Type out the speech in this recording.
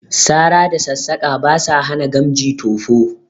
Sara da sassaƙa ba sa hana gamji tofo